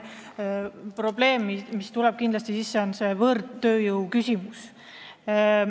Probleem, mis kindlasti tekib, on võõrtööjõud.